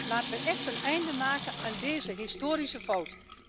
Laten we echt een einde maken aan deze historische fout.